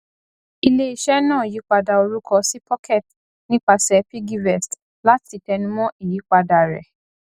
iléiṣẹ náà yípadà orúkọ sí pocket nípasẹ piggyvest láti tẹnumọ ìyípadà rẹ